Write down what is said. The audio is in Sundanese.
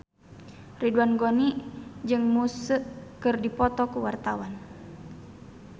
Ridwan Ghani jeung Muse keur dipoto ku wartawan